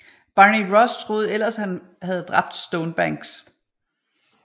Barney Ross troede ellers at han havde dræbt Stonebanks